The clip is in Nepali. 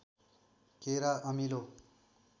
केरा अमिलो